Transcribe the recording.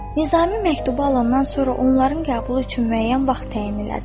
Nizami məktubu alandan sonra onların qəbulu üçün müəyyən vaxt təyin elədi.